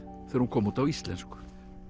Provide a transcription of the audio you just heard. þegar hún kom út á íslensku